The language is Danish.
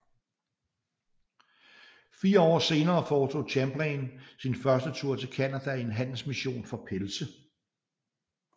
Fire år senere foretog Champlain sin første tur til Canada i en handelsmission for pelse